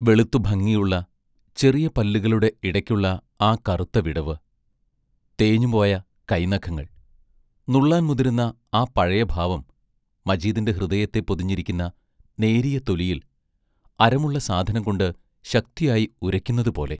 വെളുത്തു ഭംഗിയുള്ള ചെറിയ പല്ലുകളുടെ ഇടയ്ക്കുള്ള ആ കറുത്ത വിടവ്, തേഞ്ഞുപോയ കൈനഖങ്ങൾ, നുള്ളാൻ മുതിരുന്ന ആ പഴയ ഭാവം മജീദിൻറ ഹൃദയത്തെ പൊതിഞ്ഞിരിക്കുന്ന നേരിയ തൊലിയിൽ അരമുള്ള സാധനം കൊണ്ട് ശക്തിയായി ഉരയ്ക്കുന്നതുപോലെ...